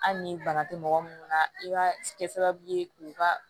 Hali ni bana tɛ mɔgɔ munnu na i ka kɛ sababu ye k'u ka